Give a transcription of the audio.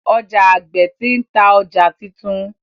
Oja agbe ti n ta ọja titun.